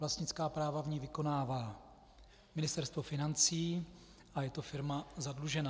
Vlastnická práva v ní vykonává Ministerstvo financí a je to firma zadlužená.